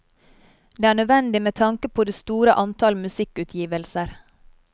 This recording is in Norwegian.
Det er nødvendig med tanke på det store antall musikkutgivelser.